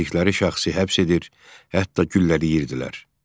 İstədikləri şəxsi həbs edir, hətta güllələyirdilər.